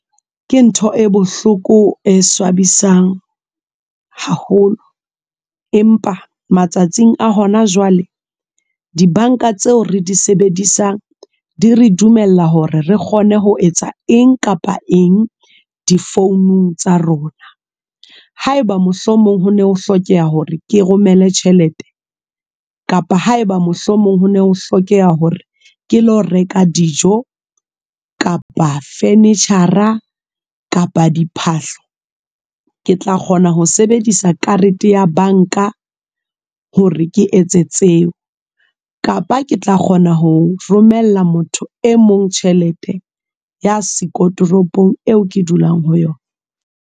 Ke ntho e bohloko e swabisang, haholo. Empa matsatsing a hona jwale, dibanka tseo re di sebedisang. Di re dumella hore re kgone ho etsa eng kapa eng, di-phone tsa rona. Haeba mohlomong ho ne ho hlokeha hore ke romele tjhelete. Kapa haeba mohlomong ho ne ho hlokeha hore, ke lo reka dijo kapa furniture, kapa diphahlo. Ke tla kgona ho sebedisa karete ya bank-a hore ke etse tseo. Kapa ke tla kgona ho romella motho e mong tjhelete, ya siko toropong eo ke dulang ho yona.